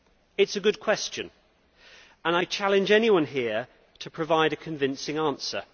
It is a good question and I challenge anyone here to provide a convincing answer.